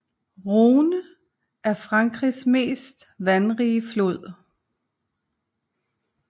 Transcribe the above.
Rhône er Frankrigs mest vandrige flod